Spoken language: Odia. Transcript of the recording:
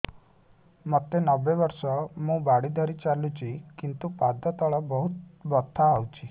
ମୋତେ ନବେ ବର୍ଷ ମୁ ବାଡ଼ି ଧରି ଚାଲୁଚି କିନ୍ତୁ ପାଦ ତଳ ବହୁତ ବଥା ହଉଛି